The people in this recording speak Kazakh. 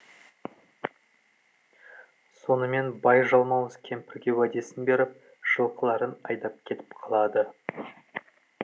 сонымен бай жалмауыз кемпірге уәдесін беріп жылқыларын айдап кетіп қалады